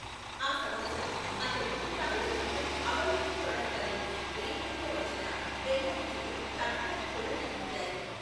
ఆ సంవత్సరం, అతను తమిళ చిత్రం అవల్ ఒరు తోదర్ కథై కి రీమేక్గా వచ్చిన బెంగాలీ చిత్రం కబితాలో కూడా నటించారు.